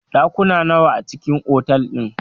Ɗakuna nawa a cikn otal din?